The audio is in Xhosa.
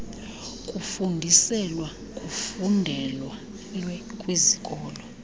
kufundiselwa kufundelwe kwizikolo